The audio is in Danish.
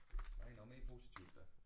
Ej noget mere positivt da